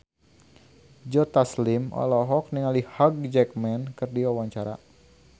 Joe Taslim olohok ningali Hugh Jackman keur diwawancara